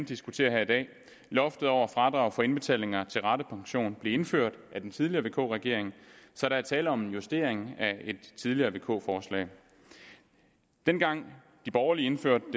diskuterer her i dag loftet over fradrag for indbetalinger til ratepension blev indført af den tidligere vk regering så der er tale om en justering af et tidligere vk forslag dengang de borgerlige indførte